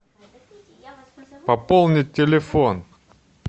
пополнить телефон